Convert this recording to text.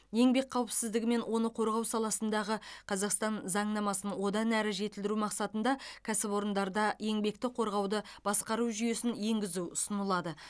еңбек қауіпсіздігі мен оны қорғау саласындағы қазақстан заңнамасын одан әрі жетілдіру мақсатында кәсіпорындарда еңбекті қорғауды басқару жүйесін енгізу ұсынылады